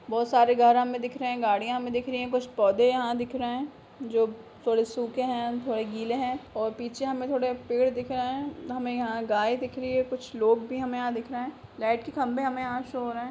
बहुत सारे घर हमें दिख रहे हैं गाड़ियां हमें दिख रही है कुछ पौधे यहां दिख रहे हैं जो थोड़े सुख हैं थोड़े गिले हैं और पीछे हमें थोड़े पेड़ दिख रहे हैं हमें यहां गाय दिख रही है कुछ लोग भी हमें दिख रहे हैं लाइट के खंभे हमें यहां शो हो रहे हैं।